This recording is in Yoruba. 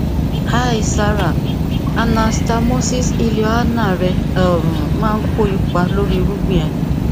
hi sara anastamosis ileoanal rẹ um maa n ko ipa lori irugbin rẹ um